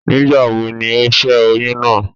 Nígbàwobni ó ṣẹ́ oyún náà?